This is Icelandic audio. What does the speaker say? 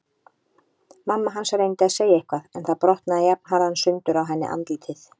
Mamma hans reyndi að segja eitthvað en það brotnaði jafnharðan sundur á henni andlitið.